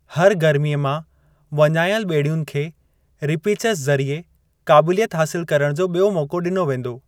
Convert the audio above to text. हर गर्मीअ मां वञाइल ॿेड़ियुन खे रीपीचज़ ज़रिए क़ाबिलियत हासिलु करणु जो ॿियो मौक़ो ॾिनो वेंदो।